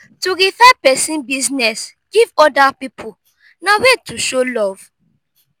to refer persin business give oda pipo na way to show love